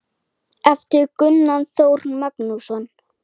eftir gunnar þór magnússon